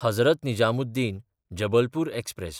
Hazrat निजामुद्दीन–जबलपूर express